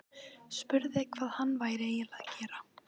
Spurði hvað hann væri eiginlega að gera.